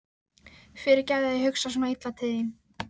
Fyrirgefðu að ég hugsa svona illa til þín.